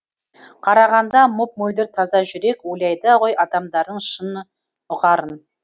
қарағанда мөп мөлдір таза жүрек ойлайды ғой адамдардың шын ұғарын